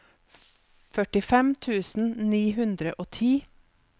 førtifem tusen ni hundre og ti